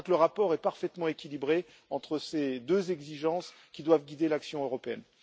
Je crois que le rapport est parfaitement équilibré entre ces deux exigences qui doivent guider l'action européenne.